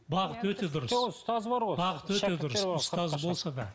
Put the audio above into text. бағыты өте дұрыс жоқ оның ұстазы бар ғой бағыты өте дұрыс ұстазы болса да